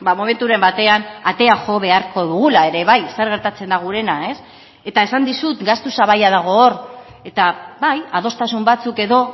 momenturen batean atea jo beharko dugula ere bai zer gertatzen da gurena eta esan dizut gastu sabaia dago hor eta bai adostasun batzuk edo